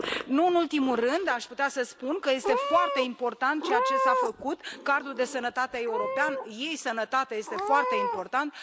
Nu în ultimul rând, aș putea să spun că este foarte important ceea ce s a făcut cardul de sănătate european, e sănătate, este foarte important.